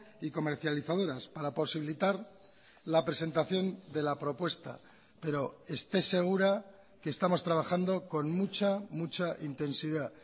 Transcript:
y comercializadoras para posibilitar la presentación de la propuesta pero esté segura que estamos trabajando con mucha mucha intensidad